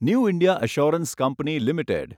new India Assurance company limited